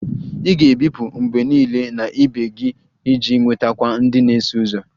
Ị ga-ebipụta mgbe niile na ibe gị iji nwetakwuo ndị na-eso ụzọ